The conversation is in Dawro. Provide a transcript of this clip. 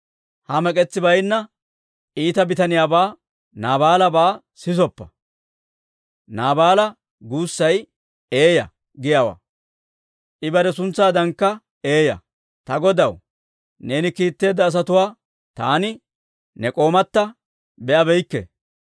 Ha mek'etsi baynna iita bitaniyaabaa, Naabaalabaa sisoppa; ‹Naabaala› guussay ‹Eeya› giyaawaa; I bare suntsaadankka eeyaa. Ta godaw, neeni kiitteedda asatuwaa taani ne k'oomatta be'abeykke.